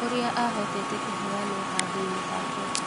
ũrĩa ahotete kũheanwo handũinĩ hake.